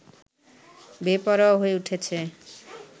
বেপরোয়া হয়ে উঠেছে